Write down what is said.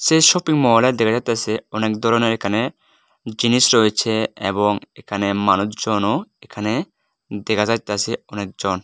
যে শপিংমল দেখা যাইতাছে অনেক ধরনের এখানে জিনিস রয়েছে এবং এখানে মানুষজনও এখানে দেখা যাইতাছে অনেকজন।